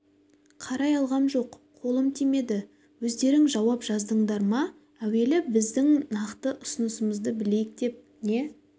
қарай алғам жоқ қолым тимеді өздерің жауап жаздыңдар ма әуелі сіздің нақты ұсынысыңызды білейік деп не